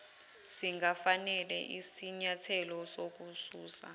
singafanele isinyathelo sokususa